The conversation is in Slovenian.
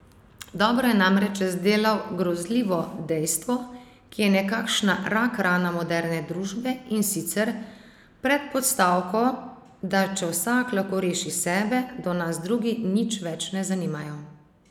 Dobro je namreč razdelal grozljivo dejstvo, ki je nekakšna rak rana moderne družbe, in sicer, predpostavko, da če vsak lahko reši sebe, da nas drugi nič več ne zanimajo ...